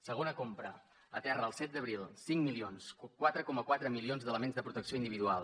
segona compra aterra el set d’abril cinc milions quatre coma quatre milions d’elements de protecció individual